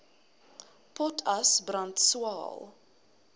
potas brand swael